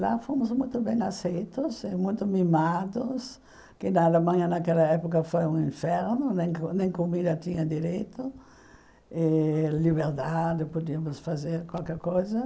Lá fomos muito bem aceitos, eh muito mimados, que na Alemanha naquela época foi um inferno, nem comida tinha direito, eh liberdade, podíamos fazer qualquer coisa.